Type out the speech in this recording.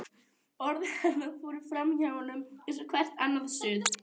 Orð hennar fóru framhjá honum eins og hvert annað suð.